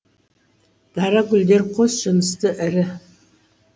дара гүлдері қос жынысты ірі